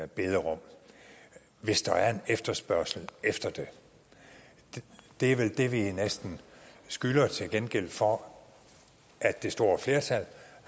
bederum hvis der er en efterspørgsel efter det det er vel det vi næsten skylder til gengæld for at det store flertal